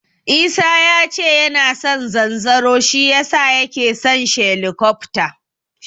Isa yace yana son zanzaro shi yasa yake son shelikofta.